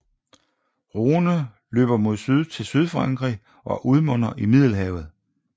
Rhône løber mod syd til sydfrankrig og udmunder i Middelhavet